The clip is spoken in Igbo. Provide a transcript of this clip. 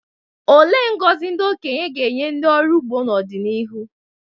Olee ngọzi ndị okenye ga-enye ndị ọrụ ugbo n’ọdịnihu?